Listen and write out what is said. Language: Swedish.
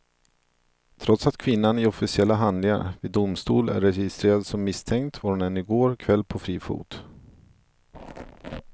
Trots att kvinnan i officiella handlingar vid domstol är registrerad som misstänkt var hon ännu i går kväll på fri fot.